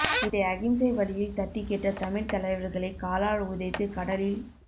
இதை அகிம்சை வழியில் தட்டிக் கேட்ட தமிழ்த் தலைவர்களை காலால் உதைத்து கடலில்